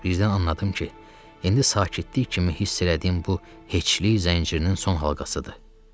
Birdən anladım ki, indi sakitlik kimi hiss elədiyim bu heçlik zəncirinin son halqasıdır.